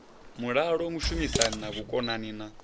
mulalo vhushumisani na vhukonani na